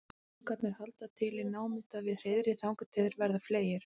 ungarnir halda til í námunda við hreiðrið þangað til þeir verða fleygir